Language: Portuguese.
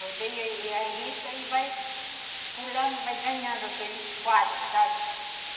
Rodeia a risca e vai pulando, vai ganhando aqueles quadros, sabe?